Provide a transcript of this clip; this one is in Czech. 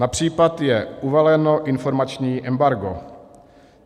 Na případ je uvaleno informační embargo.